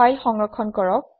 file সংৰক্ষণ কৰক